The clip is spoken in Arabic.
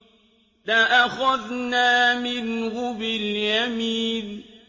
لَأَخَذْنَا مِنْهُ بِالْيَمِينِ